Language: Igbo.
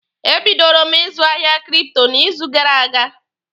E bidoro m ịzụ ahịa kripto n'izu gara aga.